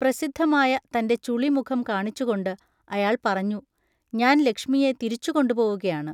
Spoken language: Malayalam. പ്രസിദ്ധമായ തൻ്റെ ചുളിമുഖം കാണിച്ചുകൊണ്ട് അയാൾ പറഞ്ഞു: ഞാൻ ലക്ഷ്മിയെ തിരിച്ചുകൊണ്ടുപോവുകയാണ്.